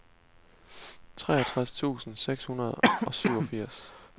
treogtres tusind seks hundrede og syvogfirs